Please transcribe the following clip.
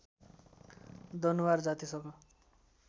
दनुवार जातिसँग